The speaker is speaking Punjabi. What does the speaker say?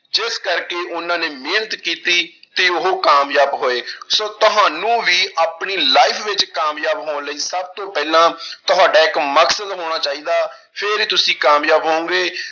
ਇਸ ਕਰਕੇ ਉਹਨਾਂ ਨੇ ਮਿਹਨਤ ਕੀਤੀ ਤੇ ਉਹ ਕਾਮਯਾਬ ਹੋਏ ਸੋ ਤੁਹਾਨੂੰ ਵੀ ਆਪਣੀ life ਵਿੱਚ ਕਾਮਯਾਬ ਹੋਣ ਲਈ ਸਭ ਤੋਂ ਪਹਿਲਾਂ ਤੁਹਾਡਾ ਇੱਕ ਮਕਸਦ ਹੋਣਾ ਚਾਹੀਦਾ, ਫਿਰ ਹੀ ਤੁਸੀਂ ਕਾਮਯਾਬ ਹੋਵੋਗੇ।